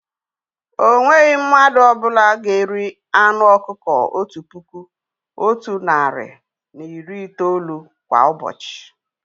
O nweghị mmadụ ọ bụla ga-eri anụ ọkụkọ otu puku, otu narị na iri itoolu kwá ụbọchị